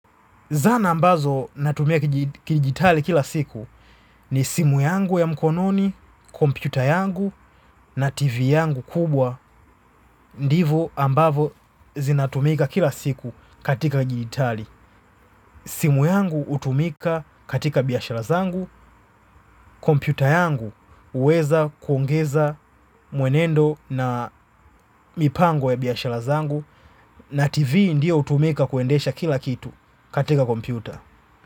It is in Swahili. Zana ambazo natumika kijitali kila siku ni simu yangu ya mkononi, kompyuta yangu na tv yangu kubwa ndivo ambavo zinatumika kila siku katika jiitali. Simu yangu hutumika katika biashara zangu, kompyuta yangu huweza kuongeza mwenendo na mipango ya biashara zangu na tv ndio hutumika kuendesha kila kitu katika kompyuta.